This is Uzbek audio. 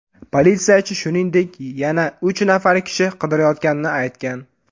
Politsiyachi, shuningdek, yana uch nafar kishi qidirilayotganini aytgan.